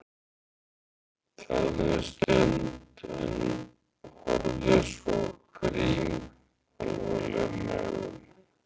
Þagði um stund en horfði svo á Grím alvarlegum augum.